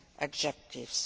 objectives